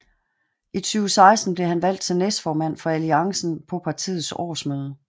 I 2016 blev han valgt til næstformand for Alliancen på partiets årsmøde